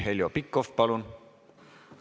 Heljo Pikhof, palun!